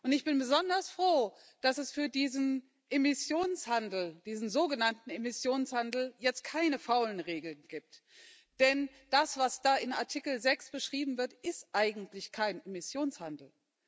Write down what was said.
Ich bin besonders froh, dass es für diesen sogenannten Emissionshandel jetzt keine faulen Regeln gibt. Denn das, was da in Artikel 6 beschrieben wird, ist eigentlich kein Emissionshandel.